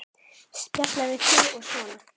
Spjalla við þig og svona.